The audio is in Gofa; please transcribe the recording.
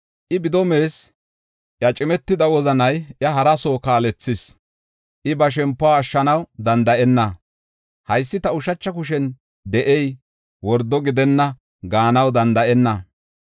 I bido mees; iya cimetida wozanay iya hara soo kaalethis. I ba shempuwa ashshanaw danda7enna; “Haysi ta ushacha kushen de7ey wordo gidenna” gaanaw danda7enna.